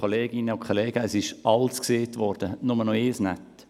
Es wurde schon alles gesagt, nur etwas fehlt noch: